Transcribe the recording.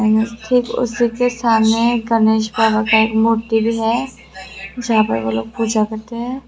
Main gate ठीक उसी के सामने एक गणेश जी की मूर्ति भी है जहां पर वह लोग पूजा करते हैं।